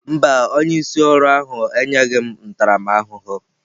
Mba, onye isi ọrụ ahụ enyeghị m ntaramahụhụ.